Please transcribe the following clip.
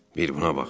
Bir buna bax.